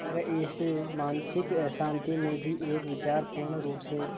पर इस मानसिक अशांति में भी एक विचार पूर्णरुप से